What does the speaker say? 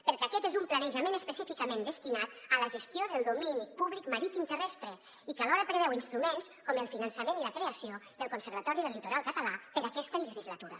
perquè aquest és un planejament específicament destinat a la gestió del domini públic marítim terrestre i que alhora preveu instruments com el finançament i la creació del conservatori del litoral català per a aquesta legislatura